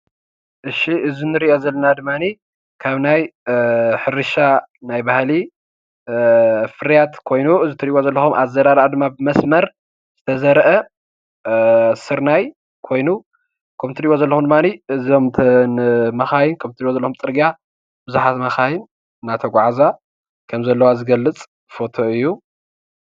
እሺ እዚ ንሪእኦ ዘለና ድማኒ ካብ ናይ ሕርሻ ናይ ባህሊ ፍርያት ኮይኑ እዚ ትሪእዎ ዘለኹም ኣዘራርኣ ድማ ብመስመር ተዘርአ ስርናይ ኮይኑ ከምቲ እትሪእዎለኹም ድማኒ እተን መካይን ከምቲ እትሪእዎለኹም ፅርግያ ብዙሓት መካይን እናተጓዓዛ ከም ዘለዋ ዝገልፅ ፎቶ እዩ።